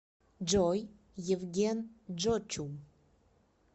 джой евген джочум